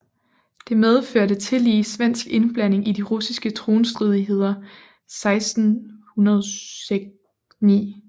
Det medførte tillige svensk indblanding i de russiske tronstridigheder 1609